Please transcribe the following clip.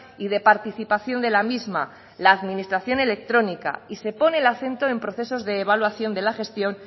y de participación de la misma la administración electrónica y se pone el acento en procesos de evaluación de la gestión